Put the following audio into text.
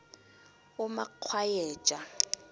umakgwayeja